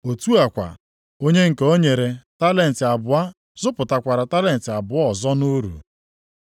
Otu a kwa, onye nke e nyere talenti abụọ zụpụtakwara talenti abụọ ọzọ nʼuru.